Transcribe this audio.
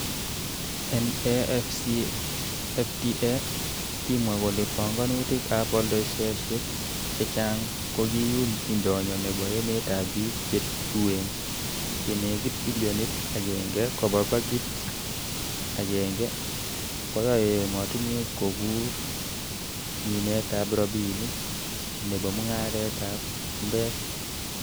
En AfCFTA, kimwa kole pongonutik ab oldoisosiek chechang kokiyum indonyo nebo emetab bik che tuen, chenekit bilionit agenge koba bakit agenge koyoe emotinwek kokuur minetab rabinik nebo mungaretab emetab chumbek.